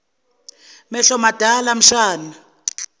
mehlo madala mshana